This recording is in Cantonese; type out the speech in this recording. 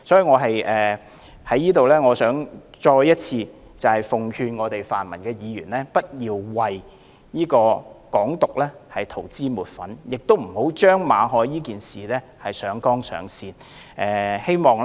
我想在此再次奉勸泛民議員不要為"港獨"塗脂抹粉，亦不要將馬凱事件上綱上線。